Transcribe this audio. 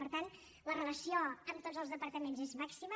per tant la relació amb tots els departaments és màxima